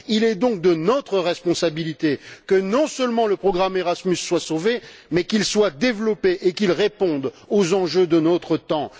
Il est donc de notre responsabilité que, non seulement le programme Erasmus soit sauvé, mais qu'il soit développé et qu'il réponde aux enjeux de notre temps.